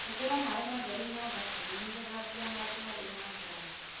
Hũthĩra maĩ matheru na thabuni gũthambia handũ harĩ na nguraro.